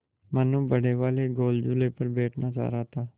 मनु बड़े वाले गोल झूले पर बैठना चाह रहा था